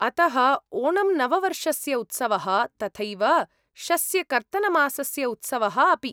अतः ओणम् नववर्षस्य उत्सवः, तथैव शस्यकर्तनमासस्य उत्सवः अपि।